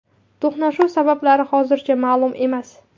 To‘qnashuv sabablari hozircha ma’lum emas.